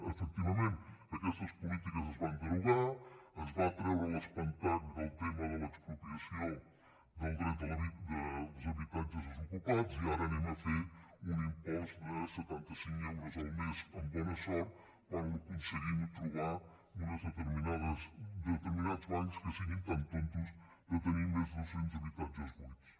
efectivament aquestes polítiques es van derogar es va treure l’espantall del tema de l’expropiació dels habitatges desocupats i ara farem un impost de setanta cinc euros el mes amb bona sort quan aconseguim trobar uns determinats bancs que siguin tan tontos de tenir més de doscents habitatges buits